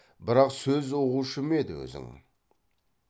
бірақ сөз ұғушы ма еді өзің